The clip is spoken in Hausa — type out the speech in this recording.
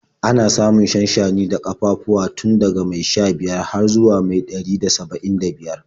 Ana samun shanshani da ƙafafuwa tun daga mai sha-biyar har zuwa mai ɗari da saba'in da biyar.